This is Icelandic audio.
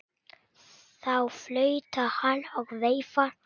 Þá flautar hann og veifar.